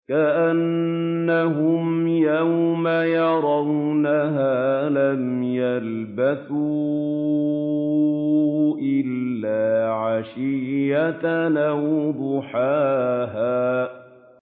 كَأَنَّهُمْ يَوْمَ يَرَوْنَهَا لَمْ يَلْبَثُوا إِلَّا عَشِيَّةً أَوْ ضُحَاهَا